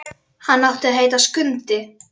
Hann átti að heita Skundi.